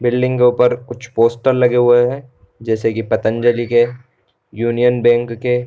Building के ऊपर कुछ पोस्टर लगे हुए हैं जैसे की पतंजलि के यूनियन बैंक के।